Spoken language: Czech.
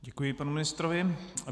Děkuji panu ministrovi.